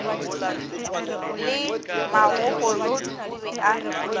le magokolodi o be a